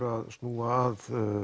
að snúa að